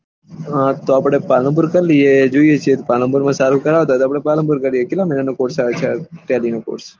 તો આપળે પાલનપુર કરી લીયીયે જેવી ઈચ્છા પાલનપુર માં સારા કરતા હોય તો આપળે પાલનપુર માં કરી લીયીયે કેટલા મહીના નું થાય છે ટેલી નું કોર્ષ